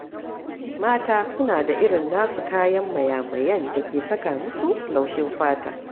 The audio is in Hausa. Mata suna da irin nasu kayan mayamayan da ke saka musu laushin fata.